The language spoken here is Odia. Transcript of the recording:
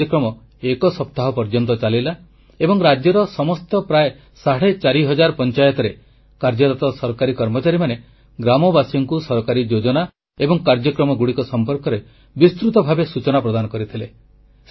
ଏହି କାର୍ଯ୍ୟକ୍ରମ ଏକ ସପ୍ତାହ ପର୍ଯ୍ୟନ୍ତ ଚାଲିଲା ଏବଂ ରାଜ୍ୟର ସମସ୍ତ ପ୍ରାୟ ସାଢ଼େ ଚାରି ହଜାର ପଂଚାୟତରେ କାର୍ଯ୍ୟରତ ସରକାରୀ କର୍ମଚାରୀମାନେ ଗ୍ରାମବାସୀଙ୍କୁ ସରକାରୀ ଯୋଜନା ଏବଂ କାର୍ଯ୍ୟକ୍ରମଗୁଡ଼ିକ ସମ୍ପର୍କରେ ବିସ୍ତୃତ ଭାବେ ସୂଚନା ପ୍ରଦାନ କରିଥିଲେ